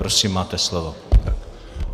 Prosím, máte slovo.